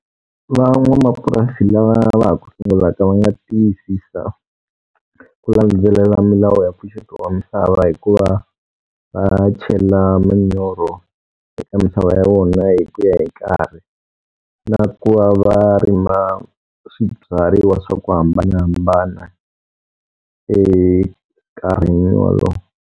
Van'wamapurasi lava va ha ku sungulaka va nga tiyisisa ku landzelela milawu ya mpfuxeto wa misava hikuva va chela manyoro eka mintlawa ya wona hi ku ya hi nkarhi. Na ku va va rima swibyariwa swa ku hambanahambana enkarhini wolowo.